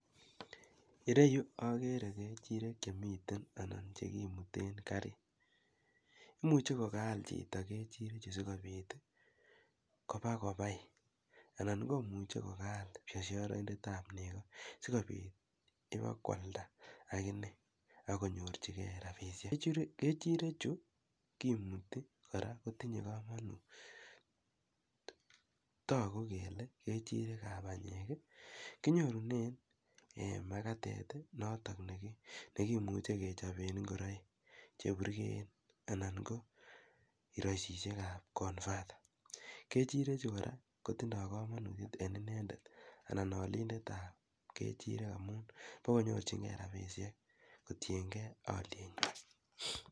Ene yu akere kechirek che miten anan che kimuten karit. Imuchi kokaal chito sikopit kopa kopai anan ko muchi ko kaal biasharaindet ap nego si kopit ipa koalda akine konyorchigei rapishek. Kechirechu kimuti kora kotinye kamanut tagu kele kechirek ap panyek. Kinyorune en makatet ne kimuche kechope ngoroik che purgeen ana ko karaisishek ap konfat. Kechirechu kotindai kamanut en inendet anan alindet ap kechirek amun pa konyorchingei rapishek kotien gei alienwan.